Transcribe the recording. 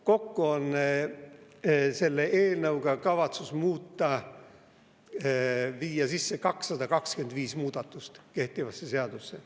Kokku on selle eelnõuga kavatsus teha 225 muudatust kehtivasse seadusesse.